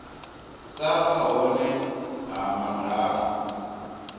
sa vha hone ha madalo